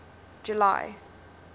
july